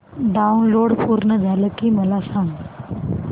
download पूर्ण झालं की मला सांग